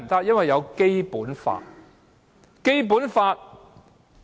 因為有《基本法》。